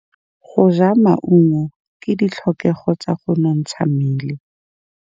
Go ja maungo ke ditlhokegô tsa go nontsha mmele.